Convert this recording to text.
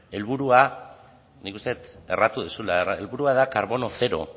helburua nik uste dut erratu duzula helburua da karbono zero